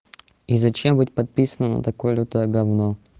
и зачем быть подписанным на такое лютое говно